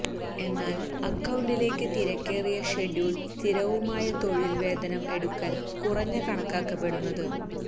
എന്നാൽ അക്കൌണ്ടിലേക്ക് തിരക്കേറിയ ഷെഡ്യൂൾ സ്ഥിരവുമായ തൊഴിൽ വേതനം എടുക്കൽ കുറഞ്ഞ കണക്കാക്കപ്പെടുന്നത്